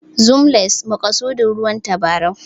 Zoom lens=maƙasudin ruwan tabarau